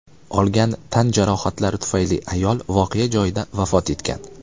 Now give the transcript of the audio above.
Olgan tan jarohatlari tufayli ayol voqea joyida vafot etgan.